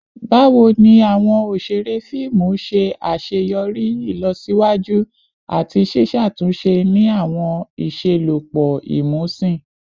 Bawo ni awọn oṣere fiimu ṣe aṣeyọri ilosiwaju ati ṣiṣatunṣe ni awọn iṣelọpọ imusin?